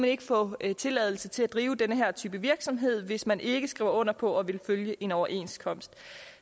ikke få tilladelse til at drive den her type virksomhed hvis man ikke skriver under på at ville følge en overenskomst